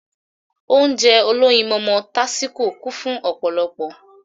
Ounjẹ olóyinmọmọ tásíko kún fun ọ̀pọ̀lọpọ̀